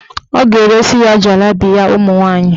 Ọ ga-eresi ya jalabiya ụmụnwaanyị.